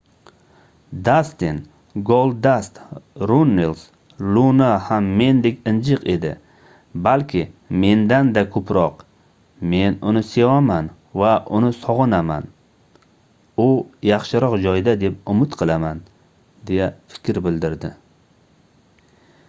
dastin goldust runnels luna ham mendek injiq edi balki mendan-da ko'proq men uni sevaman va uni sog'inaman u yaxshiroq joyda deb umid qilaman deya fikr bildirdi